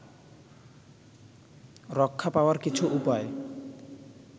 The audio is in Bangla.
রক্ষা পাওয়ার কিছু উপায়